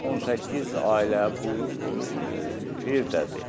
18 ailə bu evdədir.